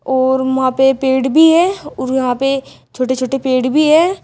और वहां पे पेड़ भी है और यहां पे छोटे छोटे पेड़ भी है।